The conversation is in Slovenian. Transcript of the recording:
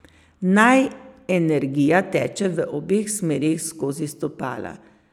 Naj energija teče v obeh smereh skozi stopala.